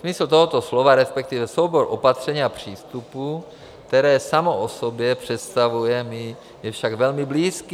Smysl toho slova, respektive soubor opatření a přístupů, které samo o sobě představuje, mi je však velmi blízký.